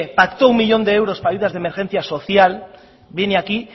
pactó un millón de euros para ayudas de emergencia social viene aquí